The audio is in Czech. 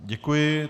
Děkuji.